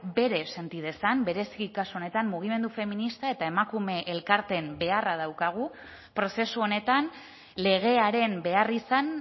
bere senti dezan bereziki kasu honetan mugimendu feminista eta emakume elkarteen beharra daukagu prozesu honetan legearen beharrizan